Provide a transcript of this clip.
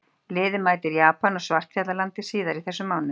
Liðið mætir Japan og Svartfjallalandi síðar í þessum mánuði.